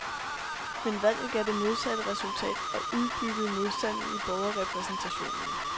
Men valget gav det modsatte resultat og udbyggede modstanden i borgerrepræsentationen.